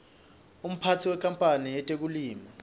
umphatsi wenkapanl yetekulima